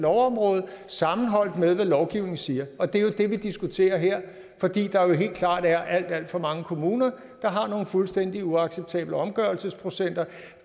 lovområde sammenholdt med hvad lovgivningen siger og det er jo det vi diskuterer her fordi der jo helt klart er alt alt for mange kommuner der har nogle fuldstændig uacceptable omgørelsesprocenter